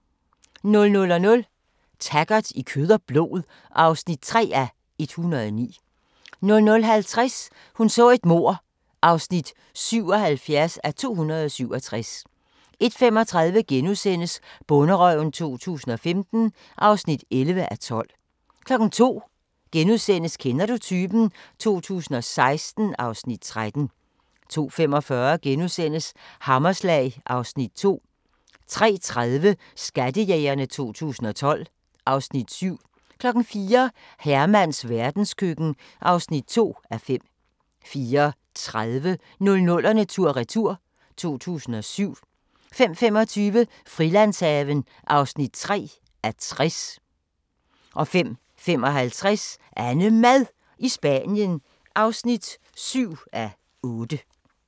00:00: Taggart: I kød og blod (3:109) 00:50: Hun så et mord (77:267) 01:35: Bonderøven 2015 (11:12)* 02:00: Kender du typen? 2016 (Afs. 13)* 02:45: Hammerslag (Afs. 2)* 03:30: Skattejægerne 2012 (Afs. 7) 04:00: Hermans verdenskøkken (2:5) 04:30: 00'erne tur-retur: 2007 05:25: Frilandshaven (3:60) 05:55: AnneMad i Spanien (7:8)